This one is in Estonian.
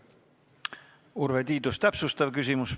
Urve Tiidus, täpsustav küsimus.